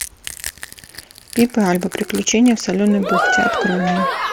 пип и альба приключения в соленой бухте открой мне